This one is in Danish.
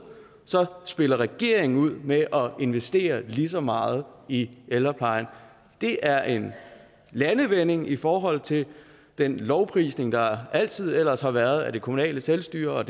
spiller regeringen ud med at investere lige så meget i ældreplejen det er en landvinding i forhold til den lovprisning der altid ellers har været af det kommunale selvstyre